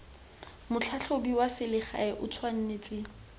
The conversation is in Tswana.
motlhatlhobi wa selegae o tshwanetse